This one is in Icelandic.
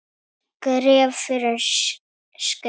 Skref fyrir skrif.